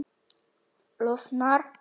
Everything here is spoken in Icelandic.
Losnar ekki við hann.